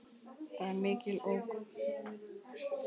Það er mikil ógn.